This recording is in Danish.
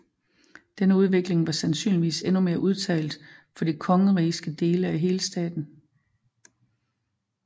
Denne udvikling var sandsynligvis endnu mere udtalt for de kongerigske dele af Helstaten